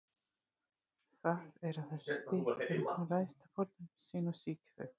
Það er á þessu stigi sem hún ræðst á fórnarlömb sín og sýkir þau.